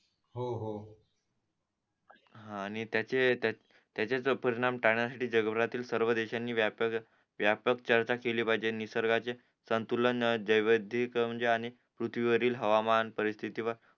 हा आणि त्याचे त्याचे परीणाम टाळण्यासाठी जगभरातील सर्व देशांनी व्यापक चर्चा केली पाहिजे निसर्गातील संतुलन जैविधीक म्हणजे अनेक पृथ्वीवरील हवामान परिस्थिती व